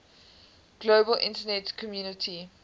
global internet community